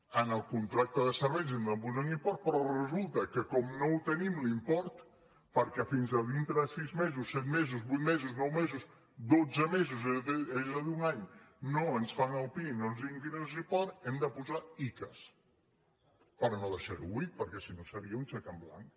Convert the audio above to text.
en el con·tracte de serveis hem de posar un import però resulta que com que no el tenim l’import perquè fins a dintre de sis mesos set mesos vuit mesos nou mesos dotze mesos és a dir un any no ens fan el pia i no ens di·uen quin és l’import hem de posar icass per no deixar·ho buit perquè si no seria un xec en blanc